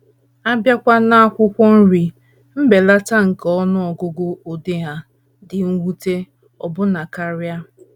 A bịakwa n’akwụkwọ nri, mbelata nke ọnụ ọgụgụ ụdị ha dị mwute ọbụna karị.